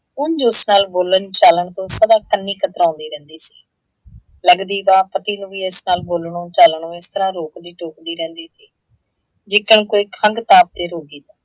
ਉਂਜ ਉਸ ਨਾਲ ਬੋਲਣ - ਚਾਲਣ ਤੋਂ ਸਦਾ ਕੰਨੀ ਕਤਰਾਉੰਦੀ ਰਹਿੰਦੀ ਸੀ। ਲੱਗਦੀ ਵਾਹ ਪਤੀ ਨੂੰ ਵੀ ਇਸ ਨਾਲ ਬੋਲਣੋ - ਚਾਲਣੋ ਇਸ ਤਰ੍ਹਾਂ ਰੋਕਦੀ - ਟੋਕਦੀ ਰਹਿੰਦੀ ਸੀ ਜਿੱਦਾਂ ਕੋਈ ਖੰਘ ਤਾਰ ਦੀ ਰੋਗੀ ਹੋ,